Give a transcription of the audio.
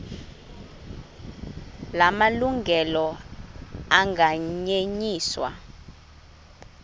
la malungelo anganyenyiswa